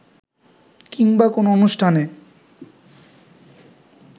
কিংবা কোনো অনুষ্ঠানে